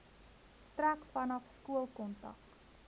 strek vanaf skoolkontak